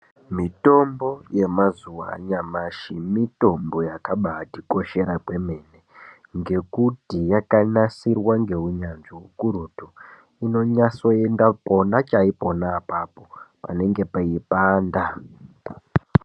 Mitombo yemazuwa anyamashi mitombo yakabatikoshera kwemene ngekuti yakanasirwa ngeunyanzvi ukurutu. Inonase kuenda pona chaipo apapo panenge peipanda.